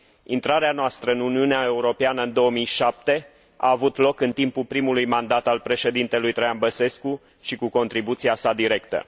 Intrarea noastră în Uniunea Europeană în 2007 a avut loc primul mandat al președintelui Traian Băsescu și cu contribuția sa directă.